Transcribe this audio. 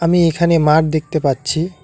আমি এখানে মাঠ দেখতে পাচ্ছি।